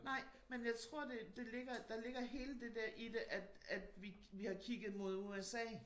Nej men jeg tror det det ligger der ligger hele det dér i det at at vi har kigget mod USA